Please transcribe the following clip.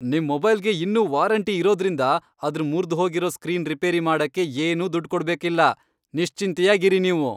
ನಿಮ್ ಮೊಬೈಲ್ಗೆ ಇನ್ನೂ ವಾರೆಂಟಿ ಇರೋದ್ರಿಂದ ಅದ್ರ್ ಮುರ್ದ್ಹೋಗಿರೋ ಸ್ಕ್ರೀನ್ ರಿಪೇರಿ ಮಾಡಕ್ಕೆ ಏನೂ ದುಡ್ಡ್ ಕೊಡ್ಬೇಕಿಲ್ಲ, ನಿಶ್ಚಿಂತೆಯಾಗ್ ಇರಿ ನೀವು.